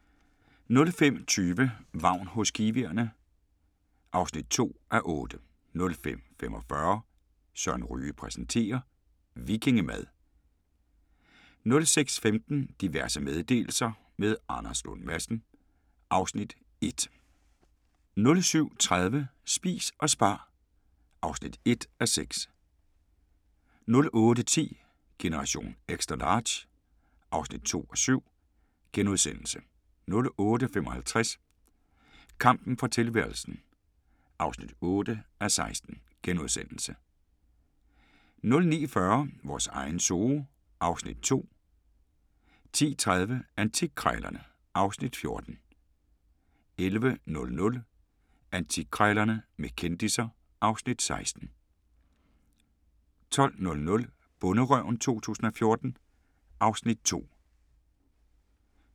05:20: Vagn hos kiwierne (2:8) 05:45: Søren Ryge præsenterer - vikingemad 06:15: Diverse meddelelser – med Anders Lund Madsen (Afs. 1) 07:30: Spis og spar (1:6) 08:10: Generation XL (2:7)* 08:55: Kampen for tilværelsen (8:16)* 09:40: Vores egen zoo (Afs. 2) 10:30: Antikkrejlerne (Afs. 14) 11:00: Antikkrejlerne med kendisser (Afs. 16) 12:00: Bonderøven 2014 (Afs. 2)